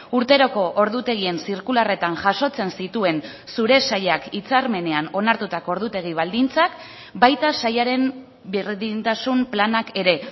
urteroko ordutegien zirkularretan jasotzen zituen zure sailak hitzarmenean onartutako ordutegi baldintzak baita sailaren berdintasun planak ere